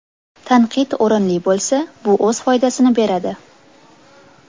Tanqid o‘rinli bo‘lsa, bu o‘z foydasini beradi.